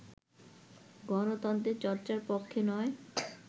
গণতন্ত্রের চর্চার পক্ষে নয়